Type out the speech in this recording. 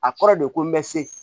A kɔrɔ de ko n bɛ se